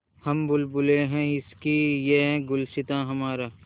हम बुलबुलें हैं इसकी यह गुलसिताँ हमारा